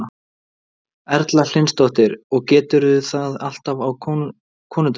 Erla Hlynsdóttir: Og gerirðu það alltaf á konudaginn?